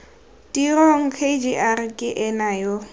tirong kgr ke ena yo